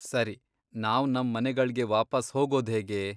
ಸರಿ, ನಾವ್ ನಮ್ ಮನೆಗಳ್ಗೆ ವಾಪಸ್ ಹೋಗೋದ್ಹೇಗೆ?